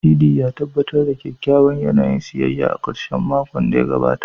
Sidi, ya tabbatar da kyakkyawan yanayin siyayya a ƙarshen makon da ya gabata.